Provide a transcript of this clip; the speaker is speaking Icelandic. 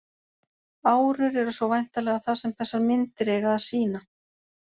Árur eru svo væntanlega það sem þessar myndir eiga að sýna.